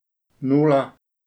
Nula!